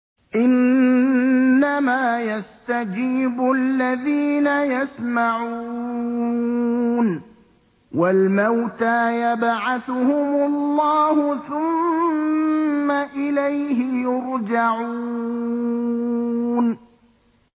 ۞ إِنَّمَا يَسْتَجِيبُ الَّذِينَ يَسْمَعُونَ ۘ وَالْمَوْتَىٰ يَبْعَثُهُمُ اللَّهُ ثُمَّ إِلَيْهِ يُرْجَعُونَ